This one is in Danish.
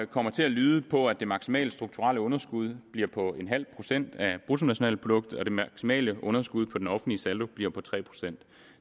kommer til at lyde på at det maksimale strukturelle underskud bliver på en halv procent af bruttonationalproduktet og det maksimale underskud på den offentlige saldo bliver på tre procent